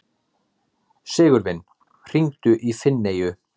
Sigurvin, hringdu í Finneyju.